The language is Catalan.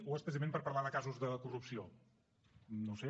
o és precisament per parlar de casos de corrupció no ho sé